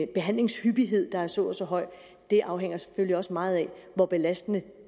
behandlingshyppighed der er så og så høj for det afhænger selvfølgelig også meget af hvor belastende